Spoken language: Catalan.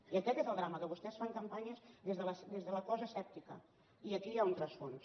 i aquest és el drama que vostès fan campanyes des de la cosa asèptica i aquí hi ha un rerefons